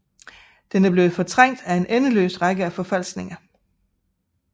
Den er blevet fortrængt af en endeløs række af forfalskninger